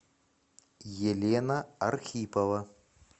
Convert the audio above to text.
елена архипова